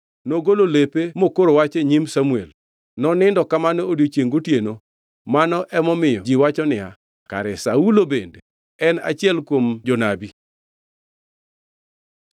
Nogolo lepe mokoro wach e nyim Samuel. Nonindo kamano odiechiengʼ gotieno. Mano ema omiyo ji wacho niya, “Kare Saulo bende en achiel kuom jonabi?”